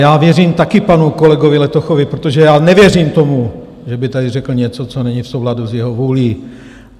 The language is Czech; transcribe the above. Já věřím taky panu kolegovi Letochovi, protože já nevěřím tomu, že by tady řekl něco, co není v souladu s jeho vůlí.